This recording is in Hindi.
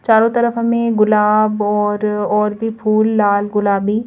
चारों तरफ हमें गुलाब और और भी फूल लाल गुलाबी--